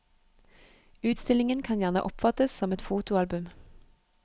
Utstillingen kan gjerne oppfattes som et fotoalbum.